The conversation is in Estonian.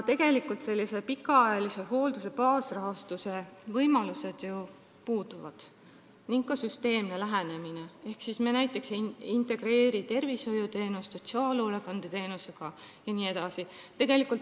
Tegelikult sellise pikaajalise hoolduse baasrahastuse võimalused ju puuduvad ning puudub ka süsteemne lähenemine ehk me ei integreeri tervishoiuteenust sotsiaalhoolekandeteenusega jne.